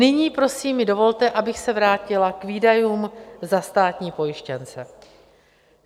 Nyní, prosím, mi dovolte, abych se vrátila k výdajům za státní pojištěnce.